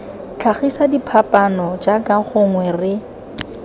tlhagisa diphapaano jaaka gongwe re